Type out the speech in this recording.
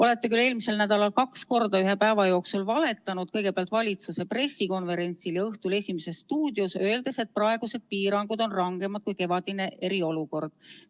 Olete küll eelmisel nädalal kaks korda ühe päeva jooksul valetanud, kõigepealt valitsuse pressikonverentsil ja õhtul "Esimeses stuudios", öeldes, et praegused piirangud on rangemad kui kevadine eriolukord.